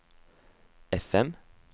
FM